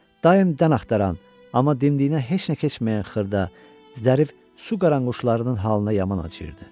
Daim dən axtaran, amma dimdiyinə heç nə keçməyən xırda, zərif su qaranquşlarının halına yaman acıyırdı.